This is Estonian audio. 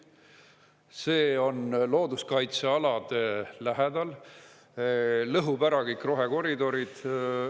See on looduskaitsealade lähedal, lõhub ära kõik rohekoridorid.